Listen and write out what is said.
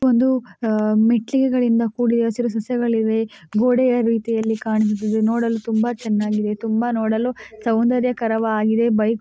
ಒಂದು ಅಹ್ ಮೆಟ್ಟಿಲುಗಳಿಂದ ಕುಡಿದ ಮತ್ತು ಹಸಿರು ಸಸ್ಯಗಳು ಇವೆ ಮತ್ತು ಗೋಡೆ ರೀತಿ ಕಾಣುತ್ತಿದೆ ನೂಡಲು ತುಂಬಾ ಚೆನ್ನಗಿದೆ ತುಂಬಾ ನೂಡಲು ಸೊಂದ್ರ್ಯಕರ ವಾಗಿದೆ